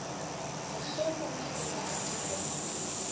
mohlomongwe o be a dirwa